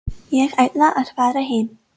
Ég ætla að fara heim.